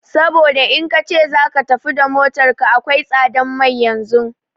Saboda in kace zaka tafi da motar ka akwai tsadan mai yanzun